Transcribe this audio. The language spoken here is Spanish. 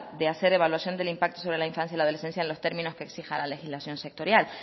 de hacer evaluación del impacto sobre la infancia y la adolescencia en los términos que exija la legislación sectorial